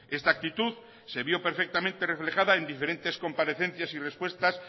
esta actitud se vio perfectamente reflejada en diferentes comparecencias y respuestas